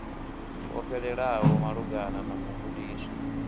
ho fhelelaho malugana na mugudiswa